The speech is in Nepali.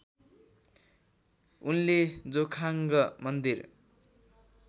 उनले जोखाङ्ग मन्दिर